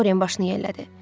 Dorian başını yellədi.